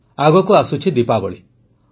ଆଗକୁ ଦୀପାବଳୀ ଆସୁଛି